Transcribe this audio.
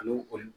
Ani kɔni